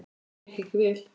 Það gekk ekki vel.